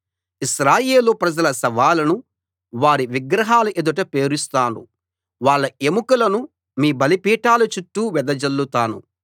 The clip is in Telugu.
ఇశ్రాయేలు ప్రజల శవాలను వారి విగ్రహాల ఎదుట పేరుస్తాను వాళ్ళ ఎముకలను మీ బలిపీఠాల చుట్టూ వెదజల్లుతాను